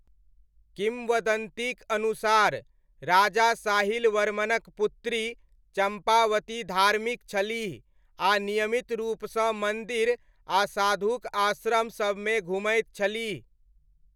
किम्वदन्तीक अनुसार राजा साहिल वर्मनक पुत्री चम्पावती धार्मिक छलीह आ नियमित रूपसँ मन्दिर आ साधुक आश्रम सबमे घुमैत छलीह।